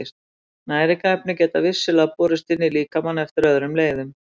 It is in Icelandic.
Næringarefni geta vissulega borist inn í líkamann eftir öðrum leiðum.